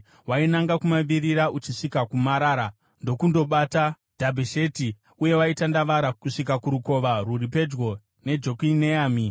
Wainanga kumavirira uchisvika kuMarara, ndokundobata Dhabhesheti, uye waitandavara kusvika kurukova rwuri pedyo neJokineami.